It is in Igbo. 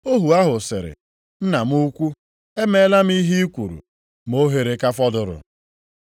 “Ohu ahụ sịrị, ‘Nna m ukwu, emeela m ihe i kwuru, ma ohere ka fọdụrụ.’